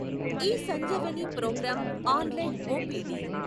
eSanjeevani programme online OPD